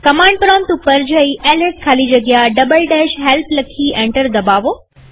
command prompt પર જઈ LS ખાલી જગ્યા help લખી એન્ટર દબાવો